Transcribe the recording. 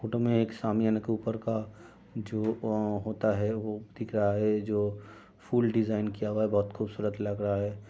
Photo में एक सामियाने के ऊपर का जो अ होता है वो दिख रहा है जो फुल डिजायन किया हुआ है बहुत खुबसूरत लग रहा है।